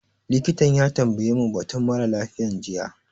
Likitan ya tambaye mu batun mara lafiyan jiya